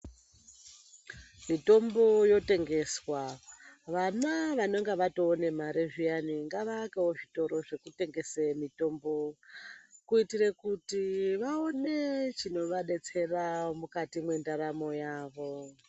Mitombo yotengeswa, vana vanenga vatoone mare zviyani ngavaakewo zvitoro zvekutengese mitombo, kuitire kuti vaone chinovadetsera mukati mwendaramo yavo.